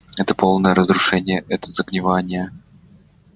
это полное разрушение это загнивание